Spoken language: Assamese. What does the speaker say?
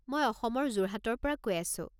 মই অসমৰ যোৰহাটৰ পৰা কৈ আছোঁ।